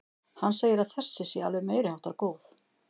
Hann segir að þessi sé alveg meiriháttar góð.